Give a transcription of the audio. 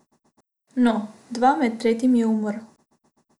No, dva, med tretjim je umrl.